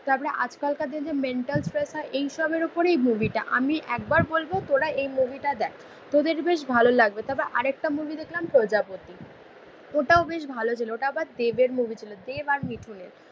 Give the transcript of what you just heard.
তারপরে আজকালকার দিনে মেন্টাল স্পেশাল এইসবের উপরেই মুভিটা. আমি একবার বলবো তোরা এই মুভিটা দেখ. তোদের বেশ ভালো লাগবে. তবে আরেকটা মুভি দেখলাম প্রজাপতি. ওটাও বেশ ভালো ছিল. ওটা আবার দেবের মুভি ছিল. দেব আর মিঠুনের